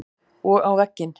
Og á vegginn.